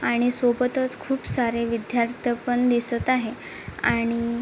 आणि सोबत च खुप सारे विद्ययार्थ पण दिसत आहे आणि--